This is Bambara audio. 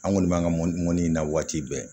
An kɔni b'an ka mɔni mɔnni na waati bɛɛ